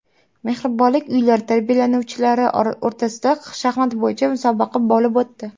Mehribonlik uylari tarbiyalanuvchilari o‘rtasida shaxmat bo‘yicha musobaqa bo‘lib o‘tdi .